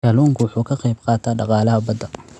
Kalluunku waxa uu ka qaybqaataa dhaqaalaha badda.